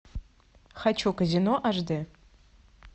хочу казино аш д